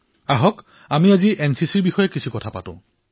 তেন্তে আহক আজি এনচিচিৰ বিষয়ে কথা পাতো